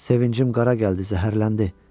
Sevincim qara gəldi, zəhərləndi.